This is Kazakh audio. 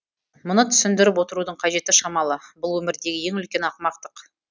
мұны түсіндіріп отырудың қажеті шамалы бұл өмірдегі ең үлкен ақымақтық